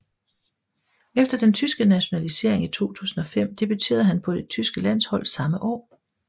Efter sin tyske nationalisering i 2005 debuterede han på det tyske landshold samme år